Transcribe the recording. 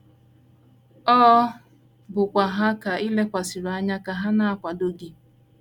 Ọ bụkwa ha ka i lekwasịrị anya ka ha na - akwado gị.